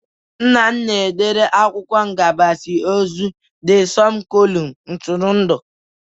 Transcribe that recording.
Nna m na-edere akwụkwọ ngbasa ozi De Sọnụ kọlum ntụrụndụ